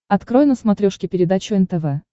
открой на смотрешке передачу нтв